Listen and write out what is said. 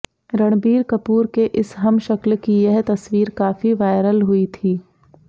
रणबीर कपूर के इस हमशक्ल की यह तस्वीर काफी वायरल हुई थी